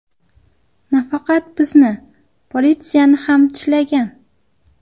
Nafaqat bizni, politsiyani ham tishlagan.